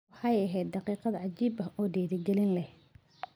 “Waxay ahayd daqiiqad cajiib ah oo dhiirigelin leh.